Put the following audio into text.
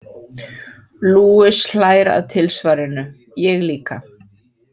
Luis hlær að tilsvarinu, ég líka.